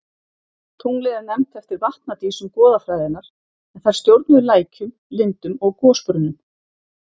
Tunglið er nefnt eftir vatnadísum goðafræðinnar en þær stjórnuðu lækjum, lindum og gosbrunnum.